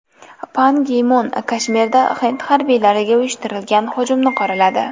Pan Gi Mun Kashmirda hind harbiylariga uyushtirilgan hujumni qoraladi.